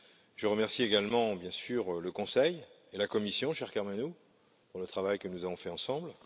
Je remercie également, bien sûr, le Conseil et la Commission, cher Karmenu, pour le travail que nous avons fait ensemble.